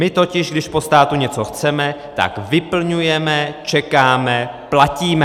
My totiž, když po státu něco chceme, tak vyplňujeme, čekáme, platíme.